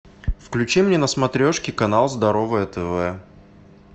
включи мне на смотрешке канал здоровое тв